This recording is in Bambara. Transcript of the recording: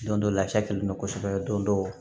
Don dɔ lafiyalen don kosɛbɛ don dɔw